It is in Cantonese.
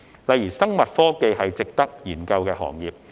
例如，生物科技是值得研究的行業。